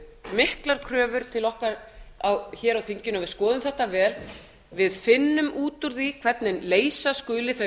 miklar kröfur til okkar á þinginu að við skoðum þetta vel að við finnum út úr því hvernig leysa skuli þau